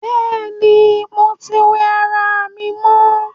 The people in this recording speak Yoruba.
Bẹ́ẹ̀ni, mo tí wẹ ará mi mọ